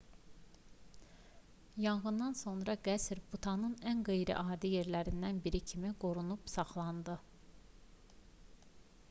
yanğından sonra qəsr butanın ən qeyri-adi yerlərindən biri kimi qorunub saxlandı